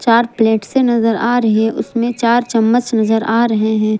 चार प्लेट से नजर आ रहे हैं उसमें चार चम्मच नजर आ रहे हैं।